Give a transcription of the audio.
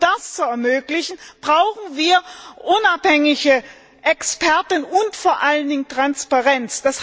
Um das zu ermöglichen, brauchen wir unabhängige Experten und vor allen Dingen Transparenz.